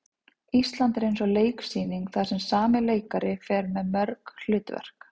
Ísland er eins og leiksýning þar sem sami leikari fer með mörg hlutverk.